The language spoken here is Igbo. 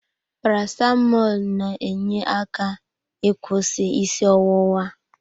Paracetamọl n'enye aka ịkwụsị isi ọwụwa.